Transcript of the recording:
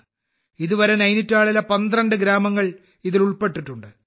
ഇതുവരെ നൈനിറ്റാളിലെ 12 ഗ്രാമങ്ങൾ ഇതിൽ ഉൾപ്പെട്ടിട്ടുണ്ട്